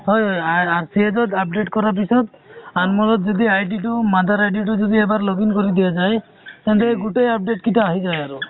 হয় হয় হয় আ RSH ত update কৰাৰ পিচত , আমোল ত তেতিয়া id টো mother id টো যদি এবাৰ login কৰি দিয়া যায় তেন্তে গোটেই update কেইটা আহি যায় আৰু